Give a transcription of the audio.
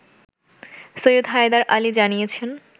সৈয়দ হায়দার আলী জানিয়েছেন